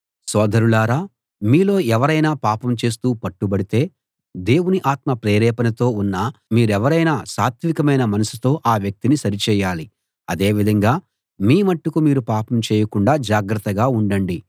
సోదరులారా మీలో ఎవరైనా పాపం చేస్తూ పట్టుబడితే దేవుని ఆత్మ ప్రేరేపణతో ఉన్న మీరెవరైనా సాత్వికమైన మనసుతో ఆ వ్యక్తిని సరిచేయాలి అదేవిధంగా మీమట్టుకు మీరు పాపం చేయకుండా జాగ్రత్తగా ఉండండి